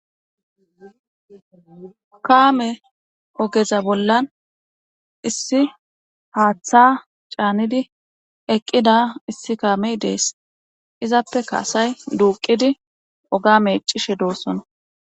kaame ogeza bollan issi haaththa caanidi eqqida issi kaamey dees izappe kaasay duuqidi oga meccishe doossona